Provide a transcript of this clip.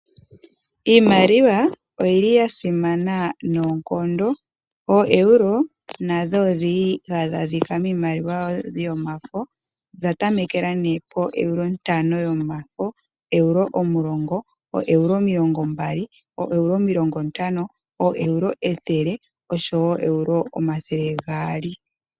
Iimaliwa oyili yasimana noonkondo. Oeuro nadho odhili hadhi adhika miimaliwa yomafo nodha tameke po euro 5, 20, 50, 100 oshowo o euro 200.